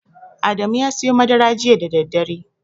Adamu ya siyo madara jita da daddare.